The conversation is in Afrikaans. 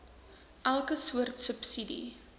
elke soort subsidie